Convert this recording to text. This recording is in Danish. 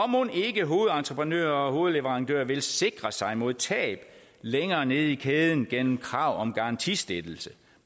mon ikke hovedentreprenører og hovedleverandører vil sikre sig mod tab længere nede i kæden gennem krav om garantistillelse